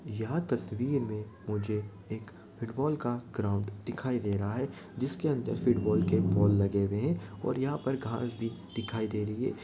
यह तस्वीर में मुझे एक फ़िटबाल का ग्राउंड दिखाई दे रहा है जिसके अंदर फ़िटबाल के बॉल लगे हुए है और यहाँ पे घास भी दिखाई दे रही है।